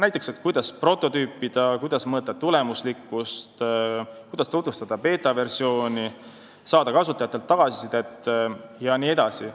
Näiteks, kuidas prototüüpida, kuidas mõõta tulemuslikkust, kuidas tutvustada beetaversiooni, saada kasutajatelt tagasisidet jne.